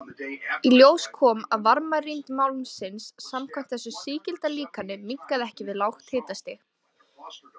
Í ljós kom að varmarýmd málmsins samkvæmt þessu sígilda líkani minnkaði ekki við lágt hitastig.